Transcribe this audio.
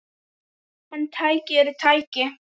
En tæki eru tæki.